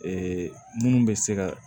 minnu bɛ se ka